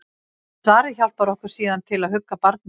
Svarið hjálpar okkur síðan til að hugga barnið.